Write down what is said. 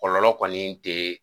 Kɔlɔlɔ kɔni tɛ